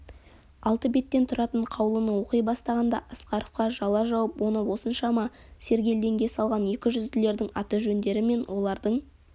алты беттен тұратын қаулыны оқи бастағанда асқаровқа жала жауып оны осыншама сергелдеңге салған екі жүзділердің аты-жөндері мен олардың